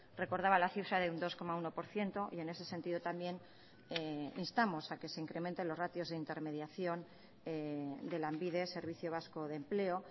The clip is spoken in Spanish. recordaba la cifra de un dos coma uno por ciento y en ese sentido también instamos a que se incrementen los ratios de intermediación de lanbide servicio vasco de empleo